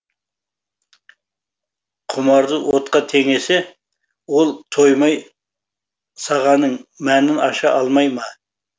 құмарды отқа теңесе ол тоймай сағанның мәнін аша алмай ма